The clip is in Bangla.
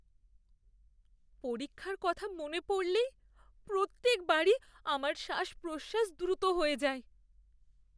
পরীক্ষার কথা মনে পড়লেই প্রত্যেকবারই আমার শ্বাস প্রশ্বাস দ্রুত হয়ে যায়।